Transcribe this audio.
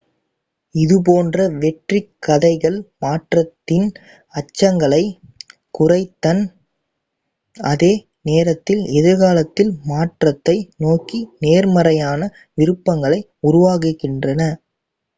இதுபோன்ற வெற்றிக் கதைகள் மாற்றத்தின் அச்சங்களைக் குறைத்தன அதே நேரத்தில் எதிர்காலத்தில் மாற்றத்தை நோக்கி நேர்மறையான விருப்பங்களை உருவாக்குகின்றன